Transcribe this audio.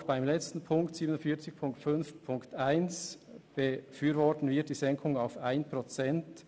Auch beim letzten Punkt 47.5.1 befürworten wir die Senkung auf 1 Prozent.